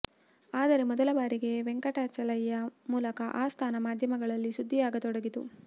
ಆದರೆ ಮೊದಲ ಬಾರಿಗೆ ವೆಂಕಟಾಚಲಯ್ಯ ಮೂಲಕ ಆ ಸ್ಥಾನ ಮಾಧ್ಯಮಗಳಲ್ಲಿ ಸುದ್ದಿಯಾಗತೊಡಗಿತು